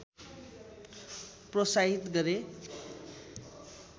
प्रोत्साहित गरे